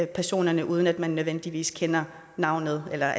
personerne uden at man nødvendigvis kender navnet eller